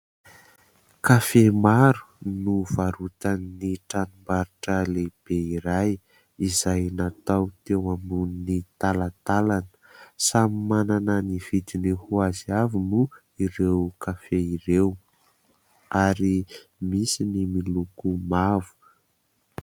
Kafe maro no varotan'ny tranombarotra lehibe iray izay natao teo ambony talantalana. Samy manana ny vidiny ho azy avy moa ireo kafe ireo ary misy ny miloko mavo.